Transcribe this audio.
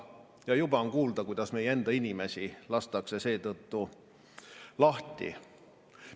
Ja juba on kuulda, kuidas meie enda inimesi lastakse seetõttu lahti.